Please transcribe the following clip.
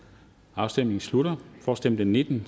afstemningen slutter for stemte nitten